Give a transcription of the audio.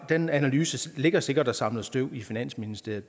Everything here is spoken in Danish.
den analyse ligger sikkert og samler støv i finansministeriet